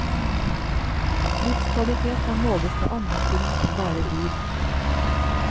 Livskvalitet kan måles med andre ting enn bare lyd.